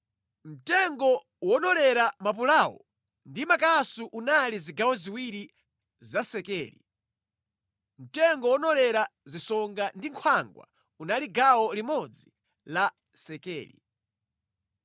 Mtengo wonolera mapulawo ndi makasu unali zigawo ziwiri za sekeli, mtengo wonolera zisonga ndi nkhwangwa unali gawo limodzi la Sekeli.